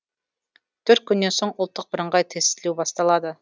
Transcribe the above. төрт күннен соң ұлттық бірыңғай тестілеу басталады